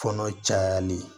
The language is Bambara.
Kɔnɔ cayali